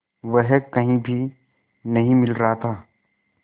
वह कहीं भी नहीं मिल रहा था